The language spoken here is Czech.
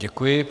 Děkuji.